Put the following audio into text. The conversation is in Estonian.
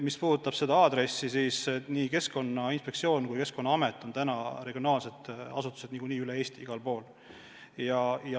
Mis puudutab seda aadressi, siis nii Keskkonnainspektsioon kui ka Keskkonnaamet on regionaalsed asutused üle Eesti.